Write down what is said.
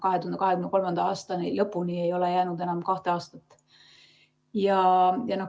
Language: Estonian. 2023. aasta lõpuni ei ole jäänud enam kahte aastatki.